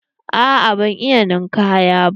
Aa ban iya ninkaya ba.